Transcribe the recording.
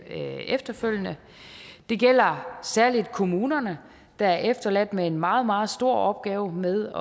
efterfølgende det gælder særlig kommunerne der er efterladt med en meget meget stor opgave med